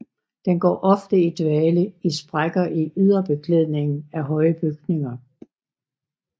Den går ofte i dvale i sprækker i yderbeklædningen af høje bygninger